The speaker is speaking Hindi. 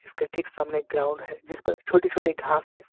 इसके ठीक सामने ग्राउंड है जिस पर छोटी छोटी घास है।